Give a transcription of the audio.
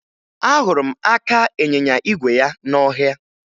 Ahụrụ m aka ịnyịnya igwe ya n'ọhịa